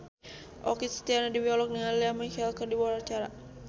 Okky Setiana Dewi olohok ningali Lea Michele keur diwawancara